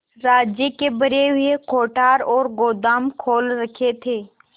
राज्य के भरे हुए कोठार और गोदाम खोल रखे थे